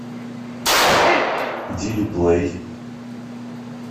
дили плей